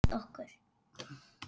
Friður sé með okkur.